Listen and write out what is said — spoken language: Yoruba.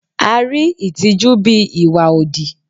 A rí ìtìjú bíi ìwà òdì.